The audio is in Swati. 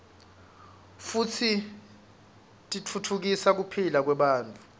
futsi titfutfukisa kuphila kwebantfu